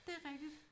Det er rigtigt